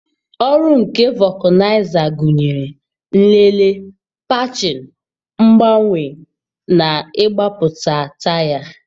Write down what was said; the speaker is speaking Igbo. Ọrụ nke vulcanizer gụnyere: nlele, patching, mgbanwe na ịgbapụta taya.